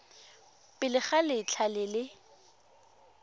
pele ga letlha le le